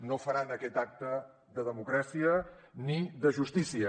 no faran aquest acte de democràcia ni de justícia